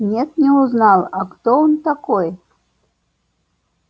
нет не узнал а кто он такой